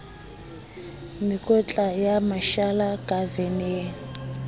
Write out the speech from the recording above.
mekotla ya mashala ka veneng